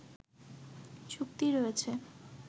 চুক্তি রয়েছে